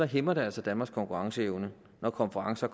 hæmmer det altså danmarks konkurrenceevne når konferencer